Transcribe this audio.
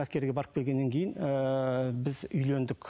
әскерге барып келгеннен кейін ыыы біз үйлендік